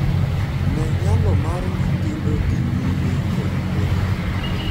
Ne nyalo mar nyithindo dhii nyime kod puonjruok